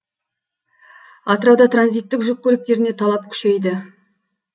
атырауда транзиттік жүк көліктеріне талап күшейді